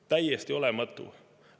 Täiesti olematu!